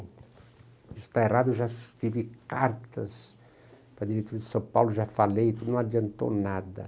Isso está errado, eu já escrevi cartas para a diretriz de São Paulo, já falei, não adiantou nada.